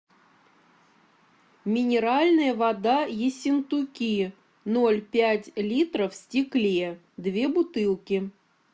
минеральная вода ессентуки ноль пять литров в стекле две бутылки